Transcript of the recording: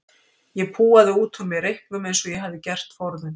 Ég púaði út úr mér reyknum eins og ég hafði gert forðum.